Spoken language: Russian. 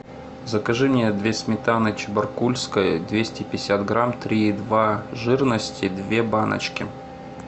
закажи мне две сметаны чебаркульской двести пятьдесят грамм три и два жирности две баночки